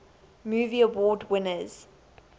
movie award winners